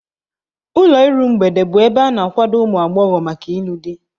Ụlọ iru mgbede bụ ebe a na-akwado ụmụ agbọghọ maka ịlụ di.